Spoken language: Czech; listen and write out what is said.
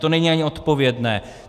To není ani odpovědné.